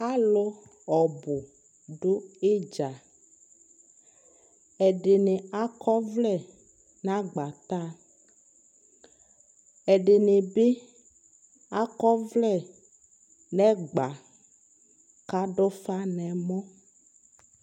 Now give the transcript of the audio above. Alu ɔbu do idza Ɛde ne akɔ ɔvlɛ na agbataaƐde ne be akɔ ɔvlɛ nɛgba kado ufa nɛmɔ